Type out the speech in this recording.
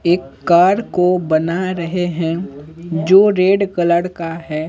एक कार को बना रहे हैं जो रेड कलर का है।